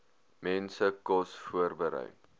mense kos voorberei